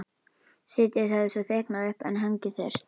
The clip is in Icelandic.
Síðdegis hafði svo þykknað upp en hangið þurrt.